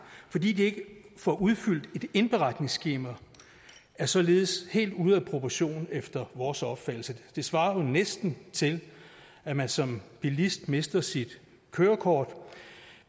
fordi de ikke får udfyldt et indberetningsskema er således helt ude af proportion efter vores opfattelse det svarer jo næsten til at man som bilist mister sit kørekort